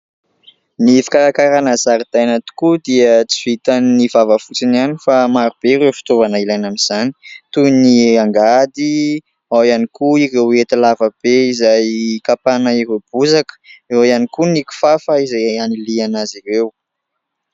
Ny fikarakarana zaridaina tokoa dia tsy vitan' ny vava fotsiny ihany fa maro be ireo fitoavana ilaina amin'izany toy ny : angady, ao ihany koa ireo hety lavabe izay hikapana ireo bozaka, eo ihany koa ny kifafa izay anilihana azy ireo.